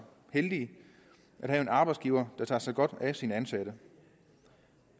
heldige at have en arbejdsgiver der tager sig godt af sine ansatte